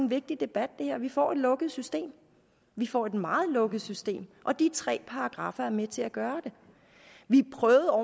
vigtig debat vi får et lukket system vi får et meget lukket system og de tre paragraffer er med til at gøre det vi prøvede